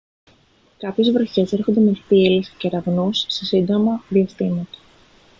κάποιες βροχές έρχονται με θύελλες και κεραυνούς σε σύντομα διαστήματα